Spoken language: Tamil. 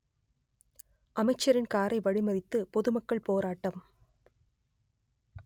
அமைச்சரின் காரை வழி மறித்து பொதுமக்கள் போராட்டம்